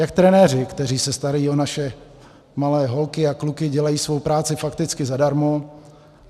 Jak trenéři, kteří se starají o naše malé holky a kluky, dělají svou práci fakticky zadarmo.